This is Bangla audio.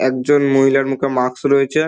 একজন মহিলার মুখে মাস্ক রয়েছে।